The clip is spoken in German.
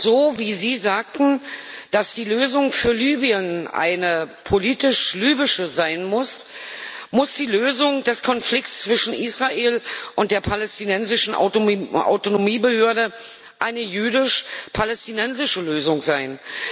So, wie Sie sagten, dass die Lösung für Libyen eine politisch libysche sein muss, muss die Lösung des Konflikts zwischen Israel und der palästinensischen Autonomiebehörde eine jüdisch palästinensische Lösung sein.